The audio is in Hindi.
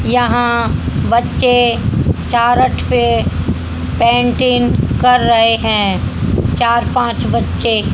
यहां बच्चे चारट पे पेंटिंग कर रहे हैं। चार पांच बच्चे--